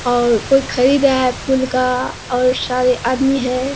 और कोई खरीद रहा है फूल का बहुत सारे आदमी हैं।